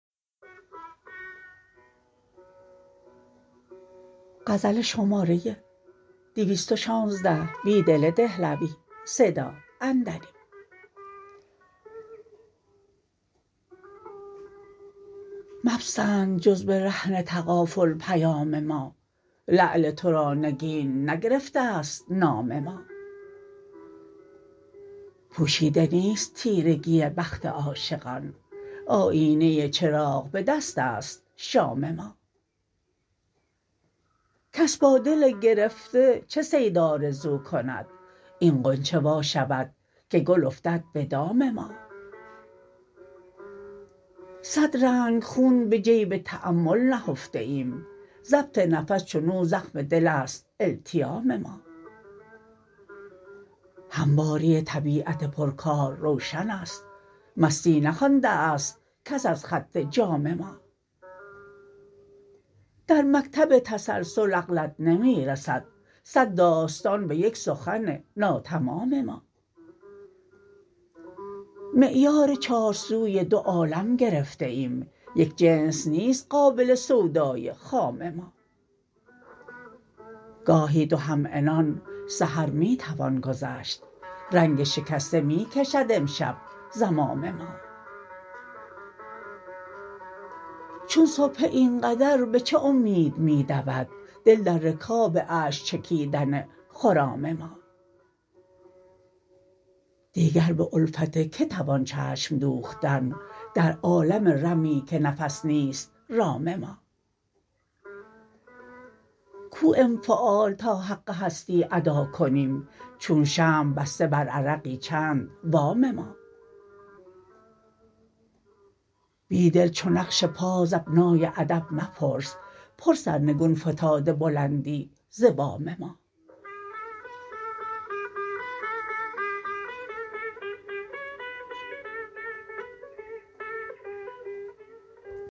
مپسند جزبه رهن تغافل پیام ما لعل ترا نگین نگرفته ست نام ما پوشیده نیست تیرگی بخت عاشقان آیینه چراغ به دست است شام ما کس با دل گرفته چه صید آرزوکند این غنچه وا شودکه گل افتد به دام ما صد رنگ خون به جیب تأمل نهفته ایم ضبط نفس چنو زخم دل ست التیام ما همواری طبیعت پرکار روشن است مستی نخوانده است کس از خط جام ما در مکتب تسلسل عقلت نمی رسد صد داستان به یک سخن ناتمام ما معیار چارسوی دو عالم گرفته ایم یک جنس نیست قابل سودای خام ما گاهی دو همعنان سحر می توان گذشت رنگ شکسته می کشد امشب زمام ما چون سبحه اینقدر به چه امید می دود دل در رکاب اشک چکیدن خرام ما دیگر به الفت که توان چشم دوختن در عالم رمی که نفس نیست رام ما کو انفعال تا حق هستی اداکنیم چون شمع بسته برعرقی چند وام ما بیدل چو نقش پا زبنای ادب مپرس پر سرنگون فتاده بلندی ز بام ما